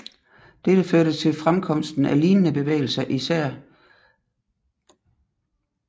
Dette førte til fremkomsten af lignende bevægelser i især Slovenien og Kroatien